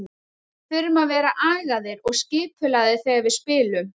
Við þurfum að vera agaðir og skipulagðir þegar við spilum.